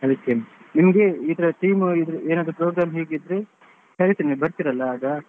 ಅದಕ್ಕೇನು, ನಿಮಗೆ ಈತರ team ಏನಾದ್ರು program ಹೀಗಿದ್ರೆ ಕರೀತೀನಿ ಬರ್ತೀರಲ್ಲ ಆಗ?